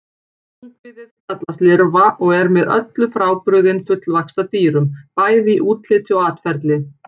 Ungviðið kallast lirfa og er með öllu frábrugðið fullvaxta dýrum, bæði í útliti og atferli.